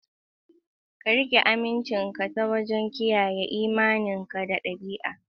Ka riƙe amincinka ta wajen kiyaye imaninka na ɗabi'a.